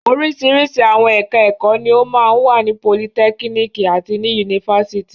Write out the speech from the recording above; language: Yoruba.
Oríṣiríṣi àwọn ẹ̀ka-ẹ̀kọ́ ni ó máa ń wà ní politẹ́kíníkì àti ní yunifásitì.